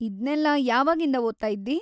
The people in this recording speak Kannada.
ಇದ್ನೆಲ್ಲಾ ಯಾವಾಗಿಂದ ಓದ್ತಾಯಿದ್ದೀ?